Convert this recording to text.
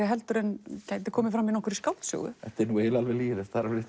heldur en gæti komið fram í skáldsögu þetta er alveg lygilegt það er alveg